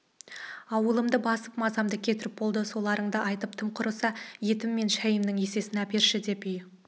аулымды басып мазамды кетіріп болды соларыңды айтып тым құрыса етім мен шайымның есесін әперші деп үй